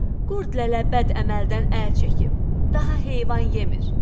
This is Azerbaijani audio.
Qurd lələ bəd əməldən əl çəkib, daha heyvan yemir.